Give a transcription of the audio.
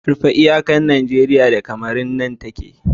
rufe iyakar Najeriya da Cameron nan take